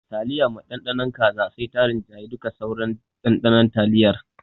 Taliya mai Ɗanɗano kaza sai ta ringayi duka sauran ɗanɗanon taliyar.